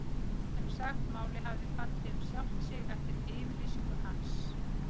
En sem sagt, málið hafði fallið um sjálft sig eftir yfirlýsingu hans.